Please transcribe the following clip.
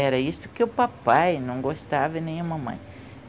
Era isso que o papai não gostava e nem a mamãe.